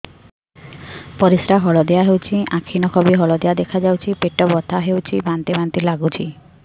ପରିସ୍ରା ହଳଦିଆ ହେଉଛି ଆଖି ନଖ ବି ହଳଦିଆ ଦେଖାଯାଉଛି ପେଟ ବଥା ହେଉଛି ବାନ୍ତି ବାନ୍ତି ଲାଗୁଛି